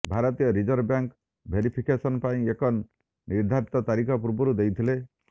ଭାରତୀୟ reserve bank verification ପାଇଁ ଏକ ନିର୍ଦ୍ଧାରିତ ତାରିଖ ପୂର୍ବରୁ ଦେଇଥିଲେ